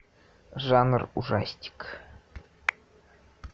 жанр ужастик